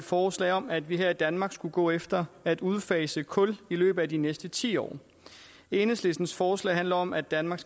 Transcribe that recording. forslag om at vi her i danmark skulle gå efter at udfase kul i løbet af de næste ti år enhedslistens forslag handler om at danmark